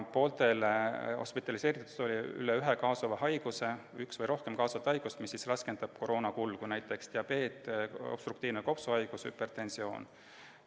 Pooltel hospitaliseeritutel oli üks või rohkem kaasuvat haigust, mis raskendab koroona kulgu, näiteks diabeet, obstruktiivne kopsuhaigus, hüpertensioon.